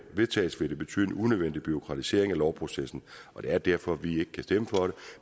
vedtages vil det betyde en unødvendig bureaukratisering af lovprocessen og det er derfor vi ikke kan stemme for det